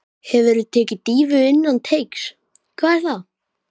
Hefurðu tekið dýfu innan teigs: Hvað er það?